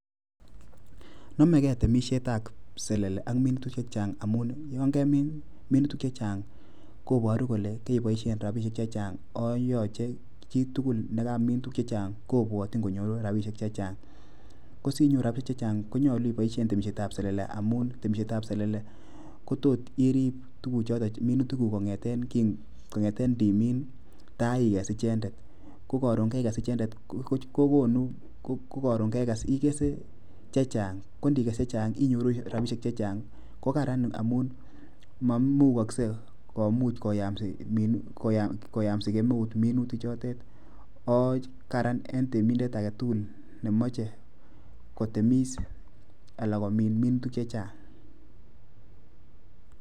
Nomege temisietab selele ak minutik chechang' amun yon kemin minutik chechang' koboru kole keboishen rabishek chechang' ako yoche chitugul nekamin tuguk chechang' kobwotyin konyoru rabishek chechang'. Ko sinyoru rabishek konyolu iboishen temishetab selele amun temishetab selele kotot irib tuguk choton minutikuk kong'eten ndimin taikes ichendet. Ko karon keikes ichendet kokonu ko koron kekes ikese chechang' ko ndikes chechang' inyoru rabishek chechang' ko karan amun moimukaksei komuch koyamsi kemeut minutik chotet oo karan en temindet age tugul nemoche kotemis ala komin minutik chechang'.